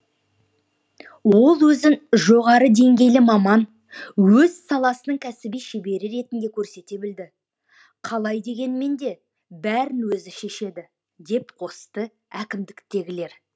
ол өзін жоғары деңгейлі маман өз саласының кәсіби шебері ретінде көрсете білді қалай дегенмен де бәрін өзі шешеді деп қосты әкімдіктегілер